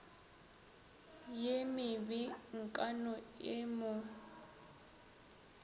ye mebe nkano e mo